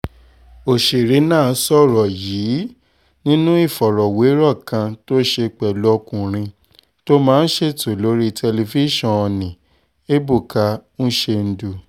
ọ̀sẹ̀rẹ̀ náà sọ̀rọ̀ yìí nínú ìfọ̀rọ̀wérọ̀ kan tó ṣe pẹ̀lú ọkùnrin tó máa ń ṣètò lórí tẹlifíṣàn nni ebuka uchendu